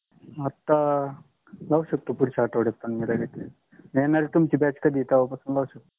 आता लाऊ शकतो पुढच्या आठवड्यात पन मी लगेच. येनारी तुम्हची batch कधि आहे तेहवा पासुन लागेच